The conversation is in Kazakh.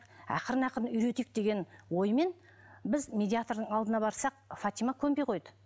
ақырын ақырын үйретейік деген оймен біз медиатрдың алдына барсақ фатима көнбей қойды